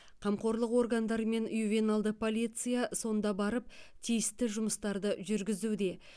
қамқорлық органдары мен ювеналды полиция сонда барып тиісті жұмыстарды жүргізуде